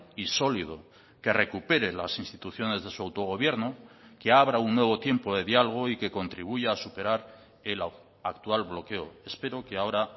y sólido que recupere las instituciones de su autogobierno que abra un nuevo tiempo de diálogo y que contribuya a superar el actual bloqueo espero que ahora